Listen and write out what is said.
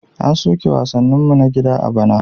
An soke wasanninmu na gida a bana.